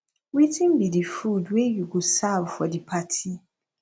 wetin be di food wey you go serve for di party